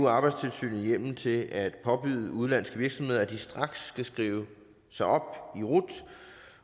arbejdstilsynet hjemmel til at påbyde udenlandske virksomheder at de straks skal skrive sig op i rut